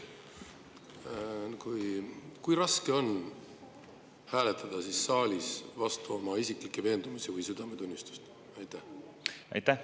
Kui raske on hääletada saalis vastu oma isiklikke veendumusi või südametunnistust?